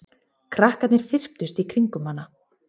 Krakkarnir þyrptust í kringum hana.